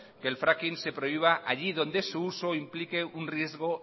que el fracking se prohíba allí donde su uso implique un riesgo